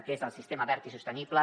que és el sistema verd i sostenible